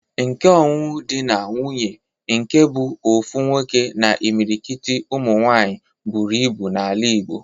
Nke ọnụnụ di na nwuńye nke bụ ofu nwoke na imilikit ụmụ nwaanyị buru ibu n'ala igbo